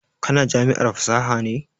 Ka na jami'ar fasaha ne?